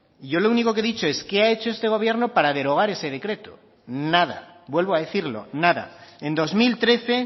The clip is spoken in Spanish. yo lo único que ha dicho es qué ha hecho este gobierno para derogar ese decreto nada vuelvo a decirlo nada en dos mil trece